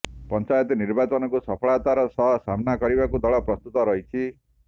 ପଞ୍ଚାୟତ ନିର୍ବାଚନକୁ ସଫଳତାର ସହ ସାମ୍ନା କରିବାକୁ ଦଳ ପ୍ରସ୍ତୁତ ରହିଛି